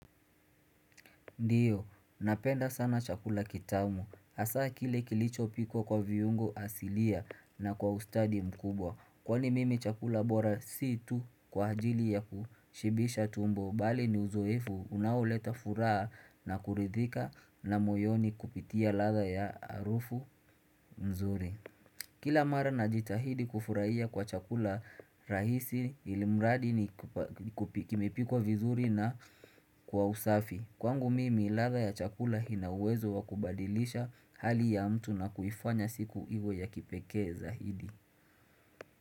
Ndiyo, napenda sana chakula kitamu. Asa kile kilicho pikwa kwa viungo asilia na kwa ustadi mkubwa. Kwa ni mimi chakula bora situ kwa ajili ya kushibisha tumbo. Bali ni uzoefu unaoleta furaha na kuridhika na moyoni kupitia latha ya arufu mzuri. Kila mara na jitahidi kufurahia kwa chakula rahisi ilimradi ni kimepikwa vizuri na kwa usafi. Kwangu mimi ladha ya chakula ina uwezo wakubadilisha hali ya mtu na kuifanya siku iwe ya kipeke zaidi.